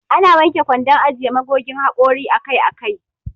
Ana wanke kwandon ajiye magogin haƙori akai akai.